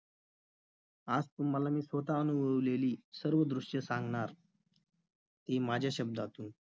आज तुम्हाला मी स्वतः अनुभवलेली सर्व दृश्ये सांगणार ते माझ्या शब्दातून